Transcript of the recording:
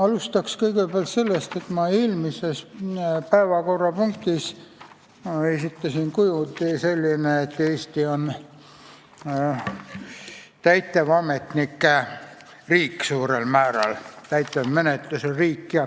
Alustan kõigepealt sellest, et ma eelmise päevakorrapunkti arutelul väitsin, et Eesti on suurel määral täitevametnike riik, täitevmenetluse riik.